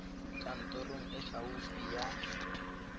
kantorong e e gaufi ya